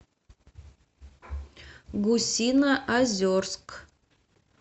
гусиноозерск